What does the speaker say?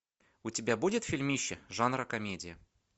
у тебя будет фильмище жанра комедия